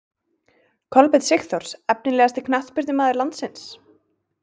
Kolbeinn Sigþórs Efnilegasti knattspyrnumaður landsins?